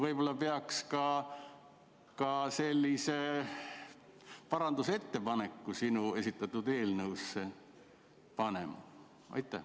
Võib-olla peaks ka sellise parandusettepaneku sinu esitatud eelnõu kohta tegema?